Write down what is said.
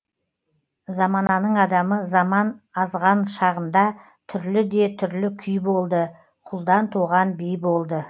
замананың адамы заман азған шағында түрлі де түрлі күй болды құлдан туған би болды